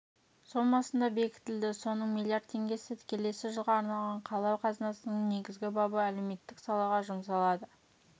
сомасында бекітілді соның миллиард теңгесі келесі жылға арналған қала қазынасының негізгі бабы әлеуметтік салаға жұмсалады